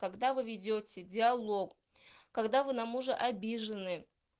когда вы ведёте диалог когда вы на мужа обижены